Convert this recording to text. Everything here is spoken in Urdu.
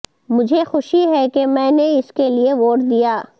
مجھے خوشی ہے کہ میں نے اس کے لئے ووٹ دیا